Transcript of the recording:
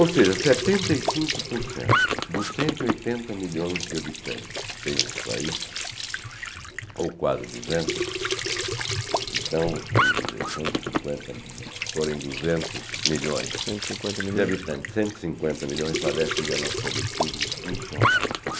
Ou seja, setenta e cinco por cento dos cento e oitenta milhões de habitantes que tem esse país, ou quase duzentos, então, vamos dizer, cento e cinquenta de se forem duzentos milhões cento e cinquenta milhões de habitantes, cento e cinquenta milhões, padecem de analfabetismo funcional.